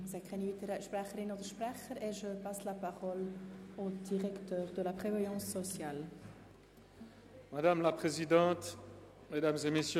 Ich sehe keine weiteren Sprecherinnen oder Sprecher und erteile Herrn Regierungsrat Schnegg das Wort.